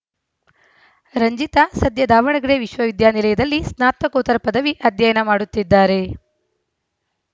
ರಂಜಿತಾ ಸದ್ಯ ದಾವಣಗೆರೆ ವಿಶ್ವವಿದ್ಯಾನಿಲಯದಲ್ಲಿ ಸ್ನಾತಕೋತ್ತರ ಪದವಿ ಅಧ್ಯಯನ ಮಾಡುತ್ತಿದ್ದಾರೆ